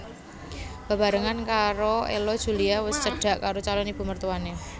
Bebarengan karo Ello Julia wus cedhak karo calon ibu mertuané